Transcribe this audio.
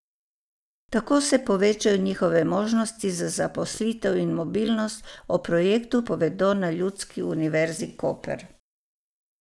Tako se povečajo njihove možnosti za zaposlitev in mobilnost, o projektu povedo na Ljudski univerzi Koper.